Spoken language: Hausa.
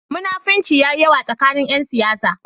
Munafinci ya yi yawa tsakanin ƴan siyasa.